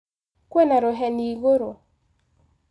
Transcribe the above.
kwĩna rũheni igũrũ.